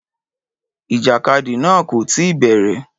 Ìjàkadì náà kò tí ì bẹ̀rẹ̀.